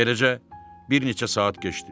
Beləcə, bir neçə saat keçdi.